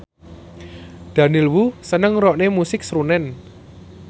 Daniel Wu seneng ngrungokne musik srunen